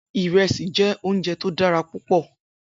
Irèsí jè óunjè tó dàrá púpò